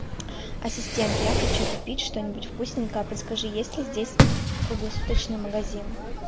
ассистент я хочу купить что нибудь вкусненькое подскажи есть ли здесь круглосуточный магазин